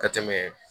Ka tɛmɛ